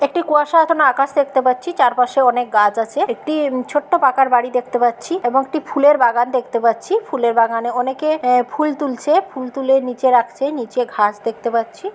একটি কুয়াশা ঘন আকাশ দেখতে পাচ্ছি চারপাশেও অনেক গাছ আছে ছোট্ট উম পাকার বাড়ি দেখতে পাচ্ছি এবং একটি ফুলের বাগান দেখতে পাচ্ছি ফুলের বাগানে অনেকে অ্যা ফুল তুলছে ফুল তুলে নীচে রাখছে নীচে ঘাস দেখতে পাচ্ছি।